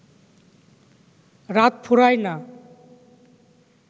রাত ফুরায় না